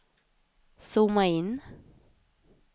zooma in